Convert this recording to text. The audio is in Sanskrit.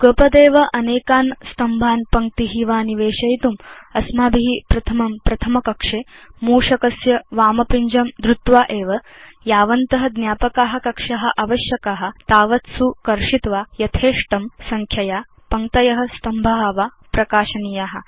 युगपदेव अनेकान् स्तम्भान् पङ्क्ती वा निवेशयितुं अस्माभि प्रथमं प्रथम कक्षे मूषकस्य वाम पिञ्जं धृत्वा तत च यावन्त ज्ञापका कक्षा आवश्यका तावत्सु कर्षित्वा यथेष्टं संख्यया पङ्क्तय स्तम्भा वा प्रकाशनीया